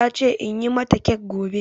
Ta ce in yi mata kek gobe